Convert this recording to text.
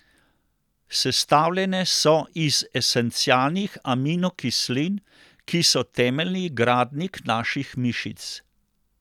Sestavljene so iz esencialnih aminokislin, ki so temeljni gradnik naših mišic.